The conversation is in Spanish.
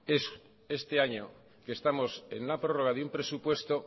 es este año que estamos en la prórroga de un presupuesto